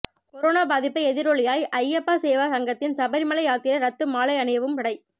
corona பாதிப்பு எதிரொலியால் ஐயப்பா சேவா சங்கத்தின் சபரிமலை யாத்திரை ரத்து மாலை அணியவும் தடை